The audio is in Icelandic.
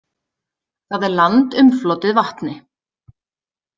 Það er land umflotið vatni.